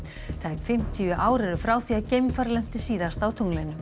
tæp fimmtíu ár eru frá því að geimfar lenti síðast á tunglinu